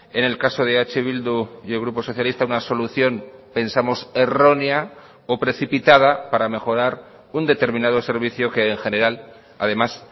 en el caso de eh bildu y el grupo socialista una solución pensamos errónea o precipitada para mejorar un determinado servicio que en general además